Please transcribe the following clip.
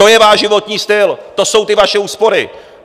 To je váš životní styl, to jsou ty vaše úspory.